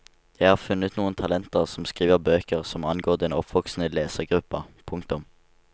Jeg har funnet noen talenter som skriver bøker som angår den oppvoksende lesergruppa. punktum